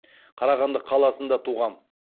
қарағанды қаласында туған